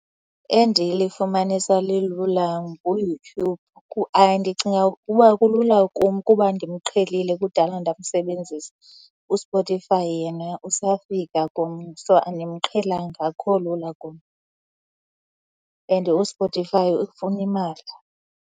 Endilifumanisa lilula nguYouTube. Ndicinga ukuba kulula kum kuba ndimqhelilem kudala ndamsebenzisa. USpotify yena usafika kum. So, andimqhelanga, akukho lula kum and uSpotify ufuna imali.